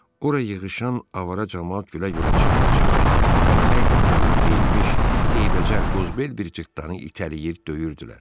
Ora yığışan avara camaat gülə-gülə, çığıra-çığıra təlxək paltarı geyinmiş eybəcər qozbel bir cırtdanı itələyir, döyürdülər.